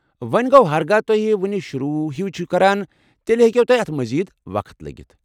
وۄنہِ گوٚو، ہرگاہ تُہۍ وُنہِ شروع ہٕے چِھ كران تیٚلہِ ہیكوٕ تۄہہِ اتھ مزید وقت لگِتھ۔